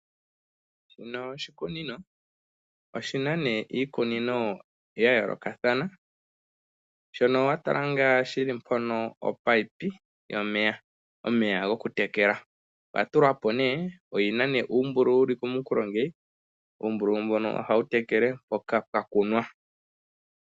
Shino oshikunino, oshina nee iikunino ya yoolokathana shono wa tala ngaa shili mpono opayipi yomeya, omeya gwoku tekela, oya tulwapo nee, oyina nee uumbululu mbono hawu tekele mpoka pwa kunwa.